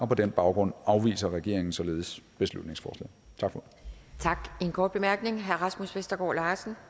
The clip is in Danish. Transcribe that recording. på den baggrund afviser regeringen således beslutningsforslaget tak for ordet